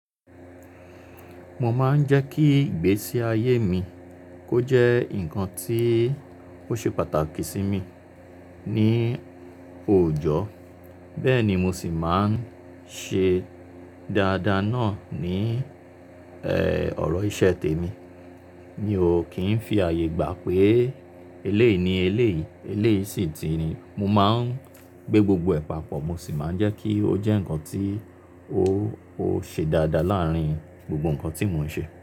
Mo máa ń jẹ́ kí ìgbésí ayé mi kó jẹ́ nǹkan tí ó ṣe pàtàkì sí mi ní òòjọ́, bẹ́ẹ̀ ni mo sì máa ń ṣe dáadáa náà ní, ẹ́, ọ̀rọ̀ iṣẹ́ tèmi. Mi ò kì í fi ààyè gbà pé eléèní eléèyí, eléèyí sì ti ni. Mo máa ń gbé gbogbo ìpàpọ̀, mo sì máa ń jẹ́ kí ó jẹ́ nǹkan tí ó ṣe dáadáa láàárín gbogbo nǹkan tí mò ń ṣe.